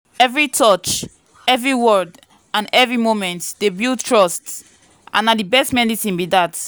every touch every word and every moment dey build trust—and na the best medicine be that.